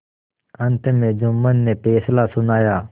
अंत में जुम्मन ने फैसला सुनाया